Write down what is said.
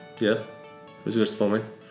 иә өзгеріс болмайды